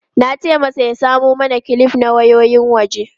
Na ce masa ya samo mana kilif na wayoyin waje.